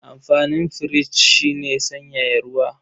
Amfanin firich shi ne sanyaya ruwa.